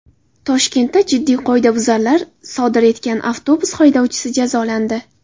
Toshkentda jiddiy qoidabuzarliklar sodir etgan avtobus haydovchisi jazolandi.